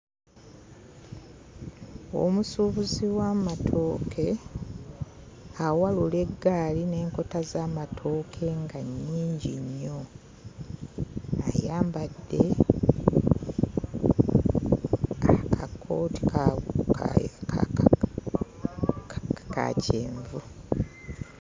Omusuubuzi w'amatooke awalula eggaali n'enkota z'amatooke nga nnyingi nnyo. Ayambadde akakooti ka ka kyenvu.